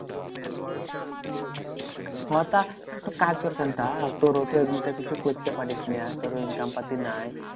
ও তা তোর ও তো এমনিতে কিছু করতে পারিস না। তোর income পাতি নাই।